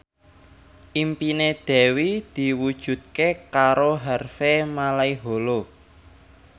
impine Dewi diwujudke karo Harvey Malaiholo